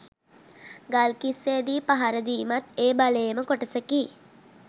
ගල්කිස්සේදී පහර දීමත් ඒ බලයේම කොටසකි